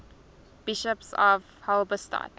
bishops of halberstadt